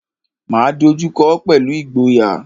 Máa dojú kọọ́ pẹ̀lú ìgboyà.